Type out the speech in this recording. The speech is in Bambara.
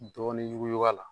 Dɔɔnin yuguyug'a la